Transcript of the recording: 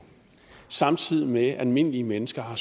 samtidig med at almindelige mennesker har